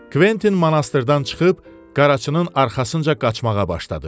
Kventin monastırdan çıxıb qaraçının arxasınca qaçmağa başladı.